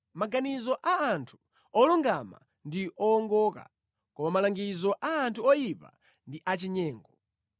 Maganizo a anthu olungama ndi owongoka, koma malangizo a anthu oyipa ndi achinyengo.